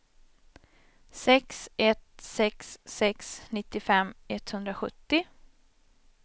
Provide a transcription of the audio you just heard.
sex ett sex sex nittiofem etthundrasjuttio